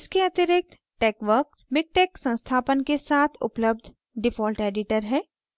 इसके अतिरिक्त texworks miktex संस्थापन के साथ उपलब्ध default editor है